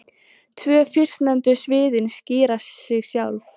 Tvö fyrstnefndu sviðin skýra sig sjálf.